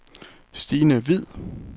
Stine Hviid